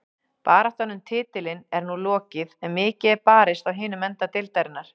Baráttan um titilinn er nú lokið en mikið er barist á hinum enda deildarinnar.